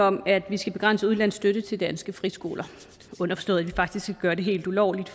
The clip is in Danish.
om at vi skal begrænse udenlandsk støtte til danske friskoler underforstået at vi faktisk skal gøre det helt ulovligt